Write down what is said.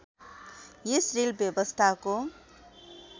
यस rail व्यवस्थाको